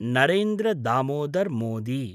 Narendra Damodar Modi